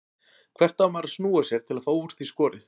Hvert á maður að snúa sér til að fá úr því skorið?